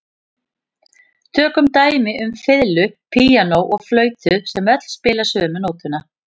Tökum dæmi um fiðlu, píanó og flautu sem öll spila sömu nótuna.